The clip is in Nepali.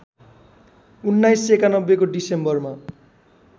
१९९१ को डिसेम्बरमा